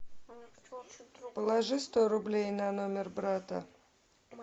положи сто рублей на номер брата